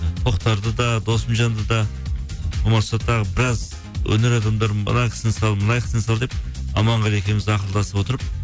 тоқтарды да досымжанды да болмаса тағы біраз өнер адамдарын мына кісіні сал мына кісіні сал деп аманғали екеуіміз ақылдасып отырып